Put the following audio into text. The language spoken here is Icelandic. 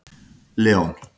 Leon